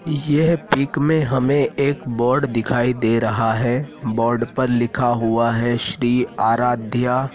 यह पिक में हमें एक बोर्ड दिखाई दे रहा है बोर्ड पर लिखा हुआ है श्री आराध्य।